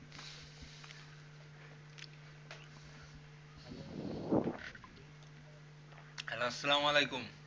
আসসালামু আলাইকুম